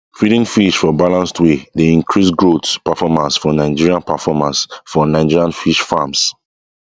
feeding fish for balanced way dey increase growth performance for nigerian performance for nigerian fish farms